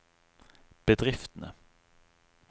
bedriftene